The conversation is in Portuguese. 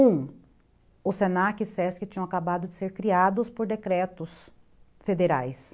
Um, o se na que e ses que tinham acabado de ser criados por decretos federais,